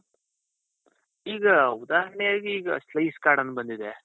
ಈಗ ಉದಾಹರಣೆಯಾಗೆ ಈಗ ಅಂತ ಬಂದಿದೆ.